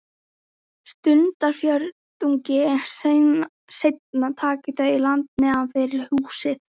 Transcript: Stundarfjórðungi seinna taka þau land neðan við húsið.